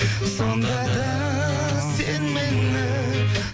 сонда да сен мені